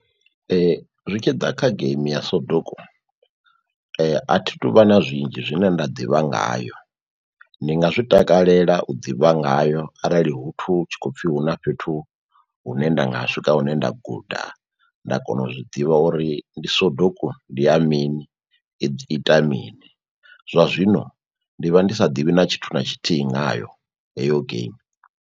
Zwi tshi ḓa kha geimi ya soduku a thi tuvha na zwinzhi zwine nda ḓivha ngayo. Ndi nga zwi takalela u ḓivha ngayo arali hu tshi khou pfhi hu na fhethu hune nda nga swika hune nda guda nda kona u zwiḓivha uri ndi soduku, ndi ya mini, i ita mini zwa zwino ndi vha ndi sa ḓivhi na tshithu na tshithihi ngayo heyo geimi.